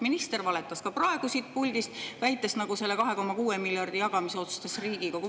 Minister valetas ka praegu siit puldist, väites, et selle 2,6 miljardi jagamise otsustas Riigikogu.